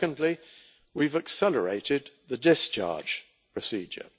Secondly, we've accelerated the discharge procedure.